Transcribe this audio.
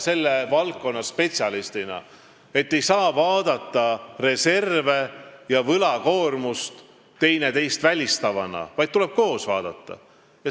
Selle valdkonna spetsialistina te teate ise, et reserve ja võlakoormust ei saa vaadata teineteisest lahus, vaid neid tuleb vaadata koos.